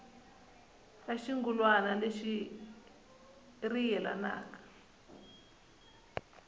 ra xirungulwana lexi ri yelana